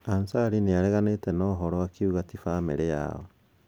Ansari nĩareganite na ũhoro akiuga t bamĩrĩ yao.